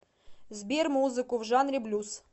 сбер музыку в жанре блюз